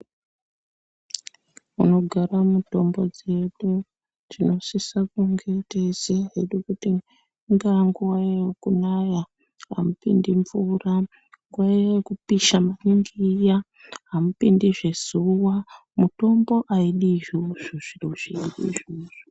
Munogara mitombo dzedu tinosisa kunge teiziya hedu kuti ingaa nguva yekunaya amupindi mvura. Nguva iya yekupisha maningi iya hamupindizve zuva mitombo haidi izvozvo zviro zveshe izvozvo.